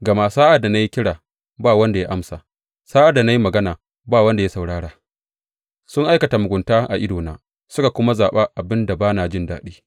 Gama sa’ad da na yi kira, ba wanda ya amsa, sa’ad da na yi magana, ba wanda ya saurara, Sun aikata mugunta a idona suka kuma zaɓa abin da ba na jin daɗi.